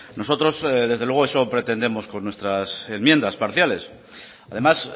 nosotros desde luego eso pretendemos con nuestras enmiendas parciales además